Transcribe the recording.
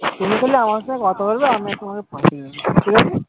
তুমি তাহলে আমার সঙ্গে কথা বলবে আমিও তোমাকে ঠিকাছে?